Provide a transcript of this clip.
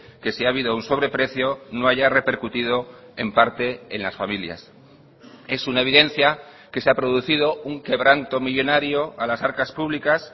que si ha habido un sobreprecio no haya repercutido en parte en las familias es una evidencia que se ha producido un quebranto millónario a las arcas públicas